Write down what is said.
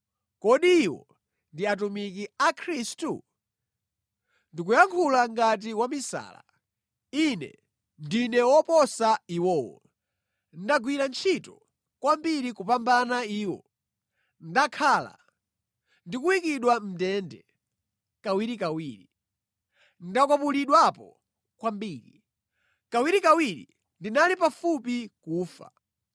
Kodi iwo ndi atumiki a Khristu? Ndikuyankhula ngati wamisala. Ine ndine woposa iwowo. Ndagwira ntchito kwambiri kupambana iwo, ndakhala ndikuyikidwa mʼndende kawirikawiri, ndakwapulidwapo kwambiri, kawirikawiri ndinali pafupi kufa.